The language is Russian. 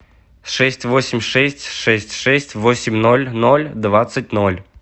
шесть восемь шесть шесть шесть восемь ноль ноль двадцать ноль